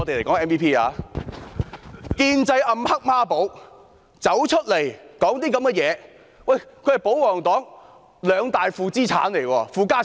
這位"建制暗黑孖寶"竟然還說這些話，他們是保皇黨兩大負資產，是"負家產"。